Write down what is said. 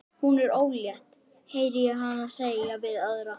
Hún er ólétt, heyri ég hana segja við aðra.